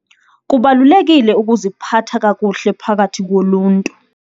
Kubalulekile ukuziphatha kakuhle phakathi koluntu.